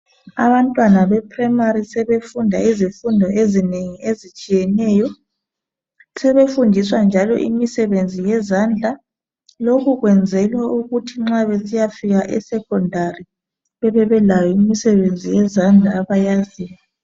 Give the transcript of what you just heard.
Abantwana beprimary sebefunda izifundo ezinengi ezitshiyeneyo. Sebefundiswa njalo imisebenzi yezandla. Lokhu kwenzelwa ukuthi nxa besiyafika esecondary bebebelayo imisebenzi yezandla abayaziyo.